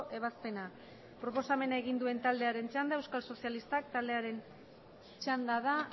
ebazpena proposamena egin duen taldearen txanda euskal sozialistak taldearen txanda da